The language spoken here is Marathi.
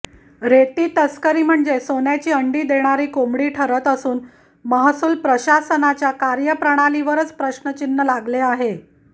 रेती तस्करी म्हणजे सोन्याची अंडी देणारी कोंबडी ठरत असून महसूल प्रशासनाच्या कार्यप्रणालीवरच प्रश्नचिन्ह लागले आहे